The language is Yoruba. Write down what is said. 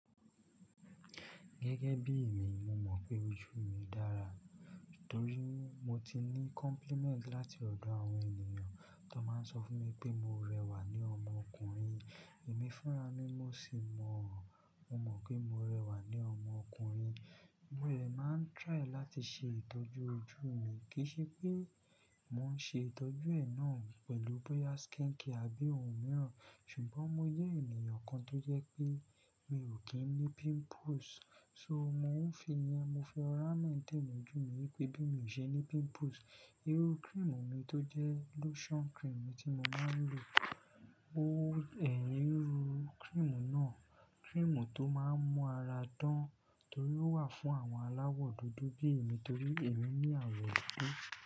Gẹ́gẹ́ bí i mi, mo mọ̀ pé ojú mi dára torí mo ti ní compliment láti ọ̀dọ̀ àwọn ènìyàn tó máa ń sọ fún mi pé mo rẹwà ní ọmọkùnrin. Èmi fúnra ní mo sì mọ̀ ọ́n. Mo mọ̀ pé mo rẹwà ní ọmọkùnrin. Mo de máa ń try láti ṣe ìtọ́jú ojú mi, kì í ṣe pé mò ń ṣe ìtọ́jú ẹ náà pẹ̀lú boya skincare àbí ohun mìíràn. Ṣùgbọ́n mo jẹ́ ènìyàn kan tó jẹ́ pé mi ò kí ń ní pimples. So mò ń fi í ni, mo fi ọ̀rá náà tẹ́ẹ̀ ojú mi wípé bí mo ṣe ní pimples. Eru cream mi tó jẹ́ lotion cream tí mo máa ń lò, ó ẹ̀ íru cream náà. Cream tó máa ń mú ara dán torí ó wà fún àwọn aláwọ̀ dúdú bí i mi torí èmi ní àwọ̀ dúdú.